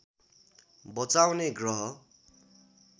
बचाउने ग्रह